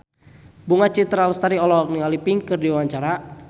Bunga Citra Lestari olohok ningali Pink keur diwawancara